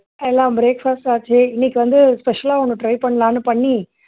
எல்லாம் breakfast ஆச்சு இன்னைக்கு வந்து special ஆ ஒண்ணு try பண்ணலாம்னு பண்ணி